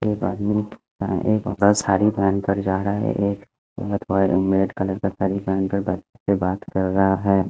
एक आदमी हा एक सारी पेहेन के जारा है एक मेट कलर का सारी पेहेन कर बात कर रहा है।